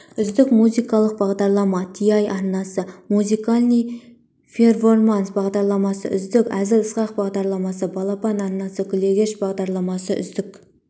үздік музыкалық бағдарлама ТИ арнасы музыкальный перформанс бағдарламасы үздік әзіл-сықақ бағдарламасы балапан арнасы күлегеш бағдарламасы үздік